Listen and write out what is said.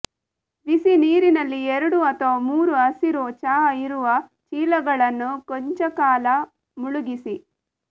ಬಿಸಿನೀರಿನಲ್ಲಿ ಎರಡು ಅಥವಾ ಮೂರು ಹಸಿರು ಚಹಾ ಇರುವ ಚೀಲಗಳನ್ನು ಕೊಂಚಕಾಲ ಮುಳುಗಿಸಿ